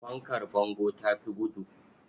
Fankar bango ta fi gudu.